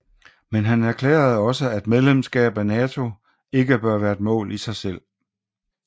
Men han erklærede også at medlemskab af NATO ikke bør være et mål i sig selv